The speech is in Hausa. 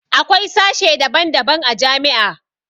Akwai sashe daban daban a jami'a